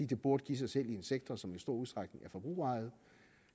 det burde give sig selv i en sektor som i stor udstrækning er forbrugerejet